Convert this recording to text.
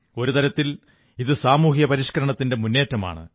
ഒരു തരത്തിൽ ഇത് സാമൂഹിക പരിഷ്കരണത്തിന്റെ മുന്നേറ്റമാണ്